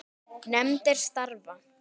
Nefndir starfa